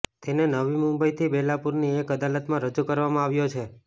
તેને નવી મુંબઈથી બેલાપુરની એક અદાલતમાં રજૂ કરવામાં આવ્યો છે